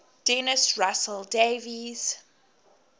dennis russell davies